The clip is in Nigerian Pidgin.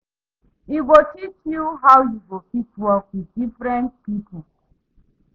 E go teach yu how yu go fit work wit diffrent pipo